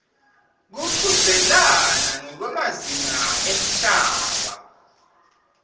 kuchudzelana ngekwemazinga emhlaba